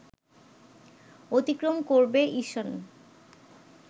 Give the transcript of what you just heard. অতিক্রম করবে ইসন